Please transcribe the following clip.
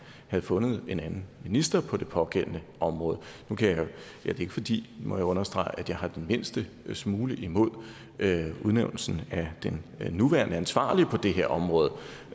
havde fundet en anden minister på det pågældende område det er ikke fordi må jeg understrege jeg har den mindste smule imod udnævnelsen af den nuværende ansvarlige på det her område